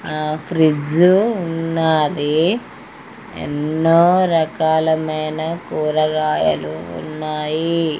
ఆ ఫ్రిడ్జ్ ఉన్నాది ఎన్నో రకాలైన కూరగాయలు ఉన్నాయి.